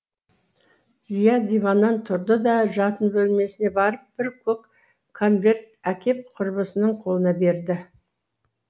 зия диваннан тұрды да жатын бөлмесіне барып бір көк конверт әкеп құрбысының қолына берді